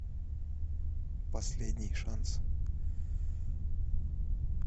последний шанс